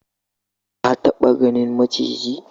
Ka taba ganin maciji?